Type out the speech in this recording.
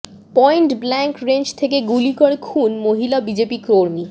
point blank range থেকে গুলি করে খুন মহিলা বিজেপি কর্মী